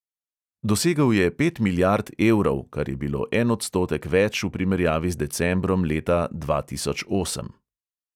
Dosegel je pet milijard evrov, kar je bilo en odstotek več v primerjavi z decembrom leta dva tisoč osem.